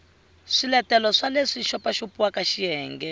swiletelo swa leswi xopaxopiwaka xiyenge